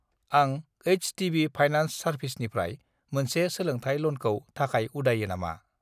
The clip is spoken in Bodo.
आं एच.डि.बि. फाइनान्स सार्भिसेसनिफ्राय मोनसे सोलोंथाइ ल'नखौ थाखाय उदायो नामा?